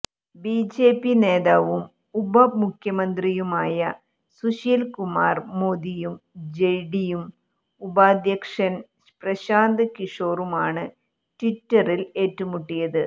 BJP നേതാവും ഉപമുഖ്യമന്ത്രിയുമായ സുശീൽ കുമാർ മോദിയും ജെഡിയു ഉപാധ്യക്ഷൻ പ്രശാന്ത് കിഷോറുമാണ് ട്വിറ്ററിൽ ഏറ്റുമുട്ടിയത്